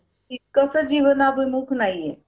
अं insurance वैगरे तर नाहीये madam आमच्या कडे काही.